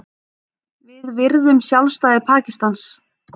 Við virðum sjálfstæði Pakistans